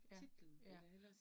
Ja ja